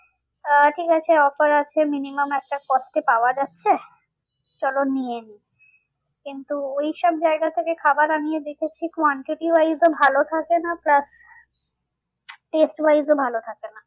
আহ ঠিক আছে offer আছে minimum একটা cost এ পাওয়া যাচ্ছে চলো নিয়ে নিই। কিন্তু ওইসব জায়গা থেকে খাবার আনিয়ে দেখেছি quantity wise এ ভালো থাকে না plus test wise এও ভালো থাকে না।